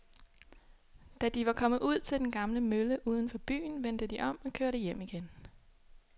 Da de var kommet ud til den gamle mølle uden for byen, vendte de om og kørte hjem igen.